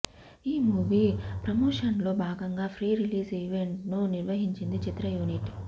ఈ మూవీ ప్రమోషన్స్లో భాగంగా ప్రీ రిలీజ్ ఈవెంట్ను నిర్వహించింది చిత్ర యూనిట్